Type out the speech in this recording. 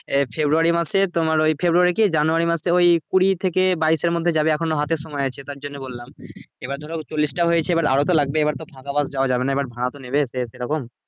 ফেব্রুয়ারী মাসে তোমার ওই ফেব্রুয়ারী কি জানুয়ারী মাসে ওই কুড়ি থেকে বাইশের মধ্যে যাবে এখনো হাতে সময় আছে তার জন্য বললাম এবার ধরো চল্লিশটা হয়েছে এবার আরো তো লাগবে এবার তো ফাঁকা bus যাওয়া যাবে না এবার ভাড়া তো নেবে সে সেরকম